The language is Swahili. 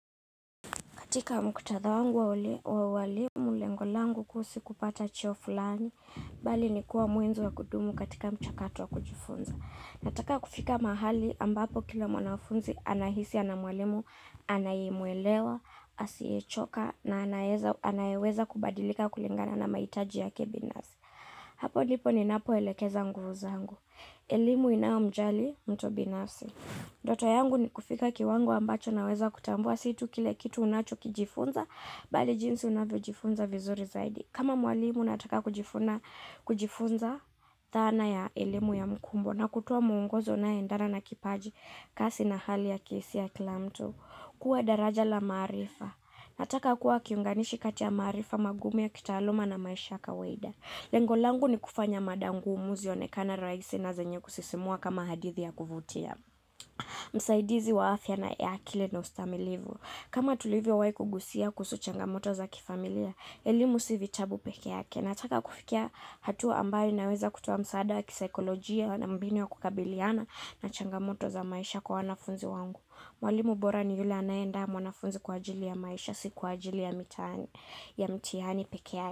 Katika muktadha wangu wa wale wa uwalimu lengo langu kuhusu kupata cheo flani, bali ni kuwa mwenzo wa kudumu katika mchakato wa kujifunza. Nataka kufika mahali ambapo kila mwanafunzi anahisi ana mwalimu anayemuelewa, asiyechoka na anaeza anayeweza kubadilika kulingana na mahitaji yake binafsi. Hapo ndipo ninapo elekeza nguvu zangu. Elimu inayo mjali mtu binafsi. Ndoto yangu ni kufika kiwango ambacho naweza kutambua situ kile kitu unacho kijifunza bali jinsi unavyo jifunza vizuri zaidi. Kama mwalimu nataka kujifuna kujifunza thana ya elimu ya mkumbo na kutoa muongozo unaye endana na kipaji kasi na hali ya kisi ya kila mtu. Kuwa daraja la maarifa. Nataka kuwa kiunganishi kati ya maarifa magumu ya kitaaluma na maisha ya kawida. Lengo langu ni kufanya mada ngumu zionekane raisi na zenye kusisimua kama hadithi ya kuvutia. Msaidizi wa afya na eakile na ustamilivu. Kama tulivyowahi kugusia kuhusu changamoto za kifamilia elimu si vitabu peke yake nataka kufikia hatua ambayo inaweza kutoa msaada ya kisaikolojia na mbinu ya kukabiliana na changamoto za maisha kwa wanafunzi wangu. Mwalimu bora ni yule anayeandaa mwanafunzi kwa ajili ya maisha, si kwa ajili ya mitaani ya mtihani peke ya.